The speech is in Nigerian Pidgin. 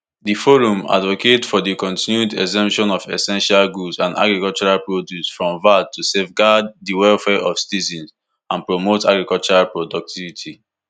di forum advocate for di continued exemption of essential goods and agricultural produce from vat to safeguard di welfare of citizens and promote agricultural productivity